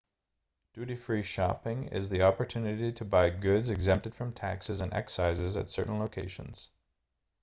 duty free shopping is the opportunity to buy goods exempted from taxes and excises at certain locations